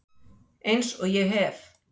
Eins og ég hef